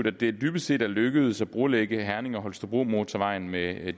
at det dybest set er lykkedes at brolægge herning holstebro motorvejen ved at